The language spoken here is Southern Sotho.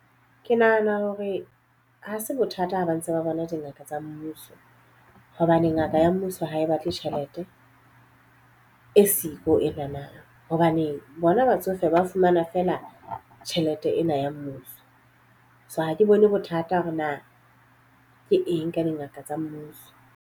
Ke nahana hore ha se bothata ha ba ntse ba bona dingaka tsa mmuso. Hobane ngaka ya mmuso ha e batle tjhelete e siko ena nang. Hobane bona batsofe ba fumana feela tjhelete ena ya mmuso. So ha ke bone bothata hore na ke eng ka dingaka tsa mmuso.